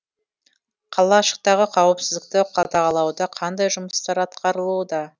қалашықтағы қауіпсіздікті қадағалауда қандай жұмыстар атқарылуда